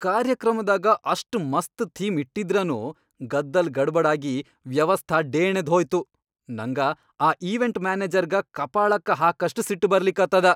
ಕಾರ್ಯಕ್ರಮದಾಗ ಅಷ್ಟ್ ಮಸ್ತ್ ಥೀಮ್ ಇಟ್ಟಿದ್ರನೂ ಗದ್ದಲ್ ಗಡಬಡ್ ಆಗಿ ವ್ಯವಸ್ಥಾ ಢೇಣೆದ್ಹೋಯ್ತು, ನಂಗ ಆ ಈವೆಂಟ್ ಮ್ಯಾನೆಜರ್ಗ ಕಪಾಳಕ್ಕ ಹಾಕಷ್ಟ್ ಸಿಟ್ಟ್ ಬರ್ಲಿಕತ್ತದ.